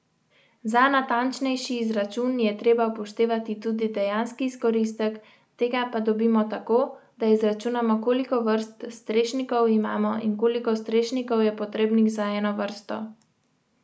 Za natančnejši izračun je treba upoštevati tudi dejanski izkoristek, tega pa dobimo tako, da izračunamo koliko vrst strešnikov imamo in koliko strešnikov je potrebnih za eno vrsto.